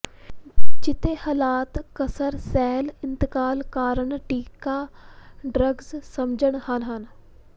ਜਿੱਥੇ ਹਾਲਾਤ ਕਸਰ ਸੈੱਲ ਇੰਤਕਾਲ ਕਾਰਨ ਟੀਕਾ ਡਰੱਗ ਸਮਝਣ ਹਨ ਹਨ